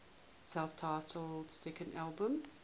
self titled second album